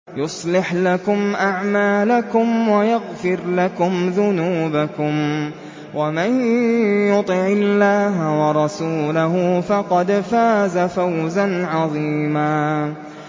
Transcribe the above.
يُصْلِحْ لَكُمْ أَعْمَالَكُمْ وَيَغْفِرْ لَكُمْ ذُنُوبَكُمْ ۗ وَمَن يُطِعِ اللَّهَ وَرَسُولَهُ فَقَدْ فَازَ فَوْزًا عَظِيمًا